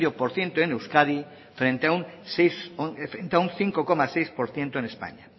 por ciento en euskadi frente a un cinco coma seis por ciento en españa